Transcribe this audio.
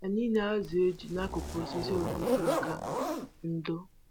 Anyị na-azụ eju n'akụkụ osisi ojoko maka ndo